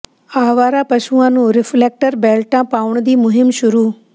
ਆਵਾਰਾ ਪਸ਼ੂਆਂ ਨੂੰ ਰਿਫ਼ਲੈਕਟਰ ਬੈਲਟਾਂ ਪਾਉਣ ਦੀ ਮੁਹਿੰਮ ਸ਼ੁਰੂ